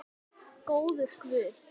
Góður guð.